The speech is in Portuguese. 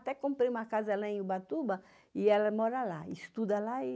Até comprei uma casa lá em Ubatuba e ela mora lá, estuda lá e...